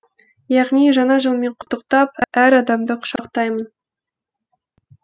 яғни жаңа жылмен құттықтап әр адамды құшақтаймын